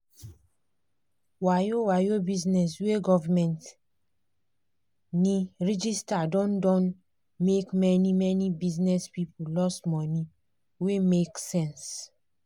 wayo-wayo bizness wey govment ne register don don make many-many bizness people loss money wey make sense.